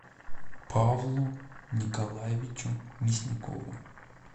павлу николаевичу мясникову